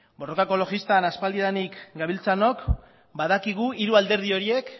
borroka ekologistan aspaldidanik gabiltzanok badakigu hiru alderdi horiek